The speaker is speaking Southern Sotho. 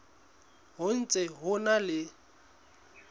ho ntse ho na le